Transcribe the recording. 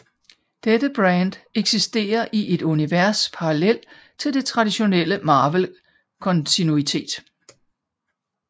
Dette brand eksiterer i et univers parallelt til det traditionelle Marvel kontinuitet